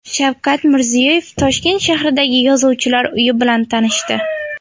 Shavkat Mirziyoyev Toshkent shahridagi yozuvchilar uyi bilan tanishdi.